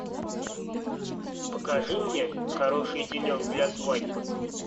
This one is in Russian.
покажи мне хороший денек для свадьбы